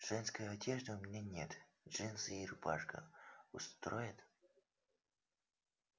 женской одежды у меня нет джинсы и рубашка устроят